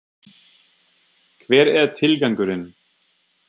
Hver er tilgangurinn?